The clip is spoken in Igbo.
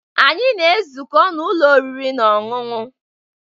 Anyị na-ezukọ n'ụlọ oriri na ọṅụṅụ